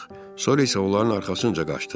Sonra isə onların arxasınca qaçdıq.